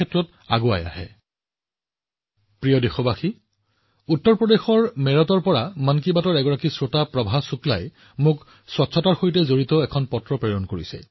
মোৰ মৰমৰ দেশবাসীসকল উত্তৰ প্ৰদেশৰ মেৰঠৰ মন কী বাতৰ শ্ৰোতা প্ৰভা শুক্লাই মোলৈ পৰিষ্কাৰ পৰিচ্ছন্নতা সম্পৰ্কীয় এখন পত্ৰ প্ৰেৰণ কৰিছে